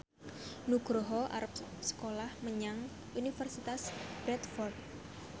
Nugroho arep sekolah menyang Universitas Bradford